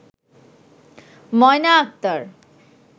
Moyna Akter